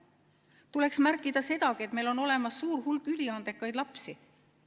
Tuleks märkida sedagi, et meil on olemas suur hulk üliandekaid lapsi.